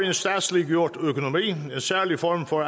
en statsliggjort økonomi en særlig form for